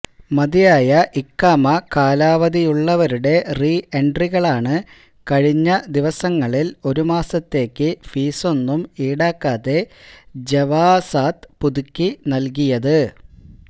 മതിയായ ഇഖാമ കാലാവധിയുള്ളവരുടെ റീ എൻട്രികളാണ് കഴിഞ്ഞ ദിവസങ്ങളിൽ ഒരുമാസത്തേക്ക് ഫീസൊന്നും ഈടാക്കാതെ ജവാസാത്ത് പുതുക്കി നൽകിയത്